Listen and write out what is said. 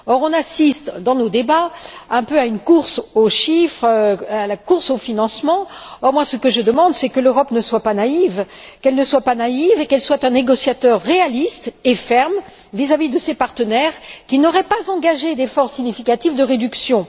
Or, on assiste, dans nos débats, un peu à une course aux chiffres, à une course au financement. Moi, ce que je demande, c'est que l'Europe ne soit pas naïve et qu'elle soit un négociateur réaliste et ferme vis à vis de ses partenaires qui n'auraient pas engagé d'efforts significatifs de réduction.